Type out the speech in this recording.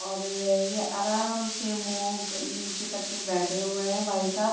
और ऐ ये आराम से मुँह क नीच कर के बैठे हुए हैं भाई साहब।